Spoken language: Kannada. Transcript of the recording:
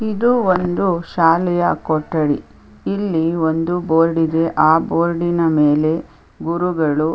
ಇದು ಒಂದು ಶಾಲೆಯ ಕೊಠಡಿ ಇಲ್ಲಿ ಒಂದು ಬೋರ್ಡಿಗೆ ಆ ಬೋರ್ಡಿನ ಮೇಲೆ ಗುರುಗಳು --